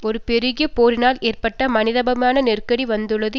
ஒரு பெருகிய போரினால் ஏற்பட்ட மனிதாபிமான நெருக்கடி வந்துள்ளது